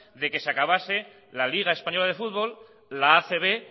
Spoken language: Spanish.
de que se acabase la liga española de fútbol la acb